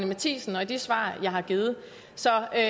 matthiesen og i de svar jeg har givet så jeg er